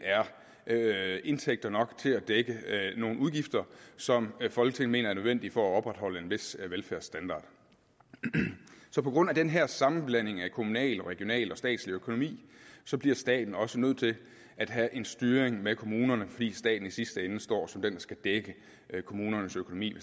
er indtægter nok til at dække nogle udgifter som folketinget mener er nødvendige for at opretholde en vis velfærdsstandard så på grund af den her sammenblanding af kommunal og regional og statslig økonomi bliver staten også nødt til at have en styring med kommunerne fordi staten i sidste ende står som den der skal dække kommunernes økonomi